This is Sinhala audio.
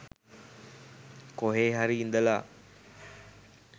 කොහේ හරි ඉඳලා